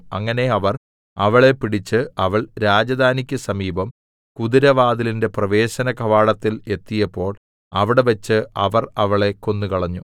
അങ്ങനെ അവർ അവളെ പിടിച്ചു അവൾ രാജധാനിക്കു സമീപം കുതിരവാതിലിന്റെ പ്രവേശനകവാടത്തിൽ എത്തിയപ്പോൾ അവിടെവെച്ച് അവർ അവളെ കൊന്നുകളഞ്ഞു